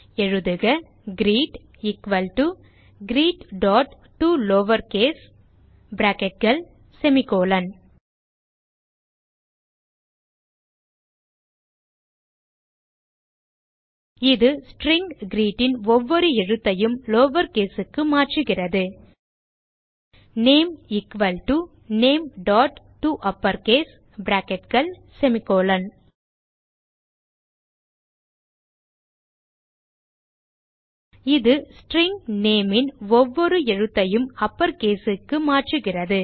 எழுதுக greet equal dot greettoLowerCase இது string greet ன் ஒவ்வொரு எழுத்தையும் lowercase க்கு மாற்றுகிறது நேம் எக்குவல் டோ nametoUpperCase இது ஸ்ட்ரிங் நேம் ன் ஒவ்வொரு எழுத்தையும் uppercase க்கு மாற்றுகிறது